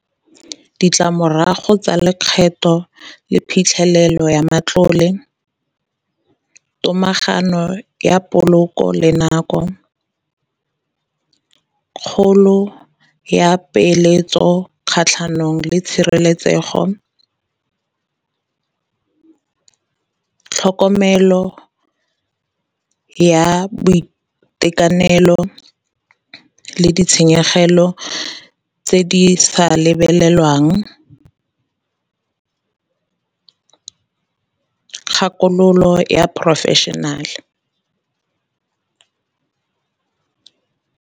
Ditlamorago tsa lekgetho le phitlhelelo ya matlole, tomagano ya poloko le nako, kgolo ya peeletso kgatlhanong le tshireletsego, tlhokomelo ya boitekanelo, le ditshenyegelo tse di sa lebelelwang kgakololo ya professional.